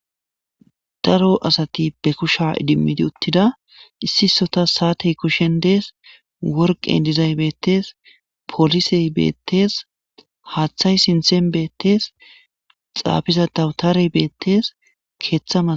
Daaro asati be kushshe iddim uttida issi issotas sa'attey kusheshen dessi worqqey diizayssi bettes polisey bettes haththay sinththan bettes xafiza dawutaray bettes keththa mas--